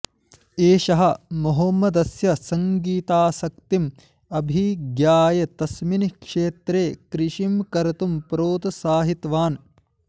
एषः मोहम्मदस्य सङ्गीतासक्तिम् अभिज्ञाय तस्मिन् क्षेत्रे कृषिं कर्तुं प्रोत्साहितवान्